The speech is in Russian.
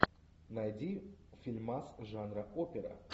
найди фильмас жанра опера